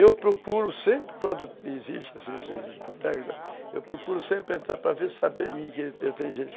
Eu procuro sempre, quando existe esse tipo de boteco, eu procuro sempre entrar